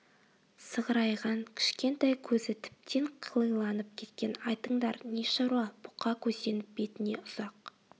сығырайған кішкентай көзі тіптен қылиланып кеткен айтыңдар не шаруа бұқа көзденіп бетіне ұзақ